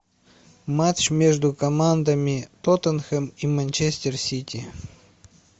матч между командами тоттенхэм и манчестер сити